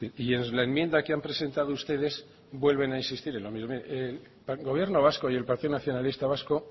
y en la enmienda que han presentado ustedes vuelven a insistir en el gobierno vasco y el partido nacionalista vasco